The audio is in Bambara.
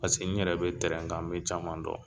Paseke n yɛrɛ be tɛrɛn kan n becaman dɔn